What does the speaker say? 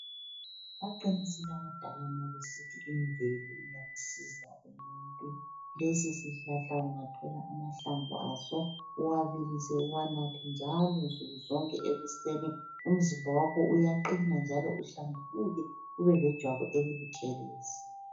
Baqinisile abadala nxa besithi imvelo iyamsiza umuntu. Lesisihlahla ungathola amahlamvu aso uwabilise uwanathe njalo nsukuzonke ekuseni umzimba wakho uyaqina njalo uhlambuluke ubelejwabu elibutshelezi.